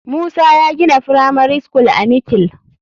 Musa ya gina firamari school are mikil.